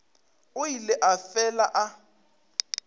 o ile a fela a